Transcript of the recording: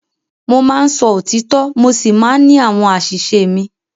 Mo máa ń sọ òtítọ́ mo sì máa ń ní àwọn àṣìṣe mi.